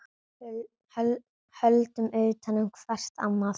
Höldum utan um hvert annað.